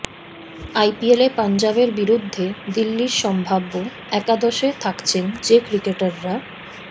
আইপিএলে পাঞ্জাবের বিরুদ্ধে দিল্লির সম্ভাব্য একাদশে থাকছেন যে ক্রিকেটাররা